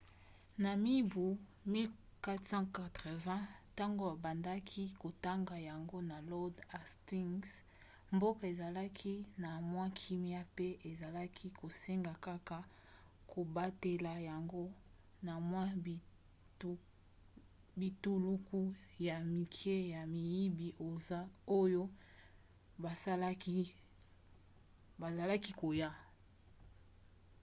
na mibu 1480 ntango babandaki kotonga yango na lord hastings mboka ezalaki na mwa kimia mpe ezalaki kosenga kaka kobatela yango na mwa bituluku ya mike ya miyibi oyo bazalaki koya